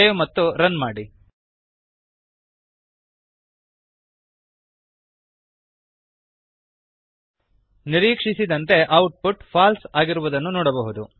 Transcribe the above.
save ಮತ್ತು run ಮಾಡಿ ನಿರೀಕ್ಷಿಸಿದಂತೆ ಔಟ್ ಪುಟ್ Falseಫಾಲ್ಸ್ ಆಗಿರುವುದನ್ನು ನೋಡಬಹುದು